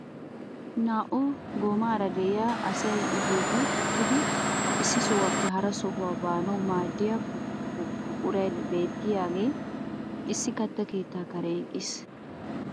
Naa"u goomaara de'iyaa asay i bolli uttidi issi sohuwaappe hara sohuwaa baanawu maaddiyaa buqueay bettiyaagee issi katta keettaa karen eqqiis.